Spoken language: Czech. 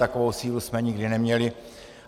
Takovou sílu jsme nikdy neměli.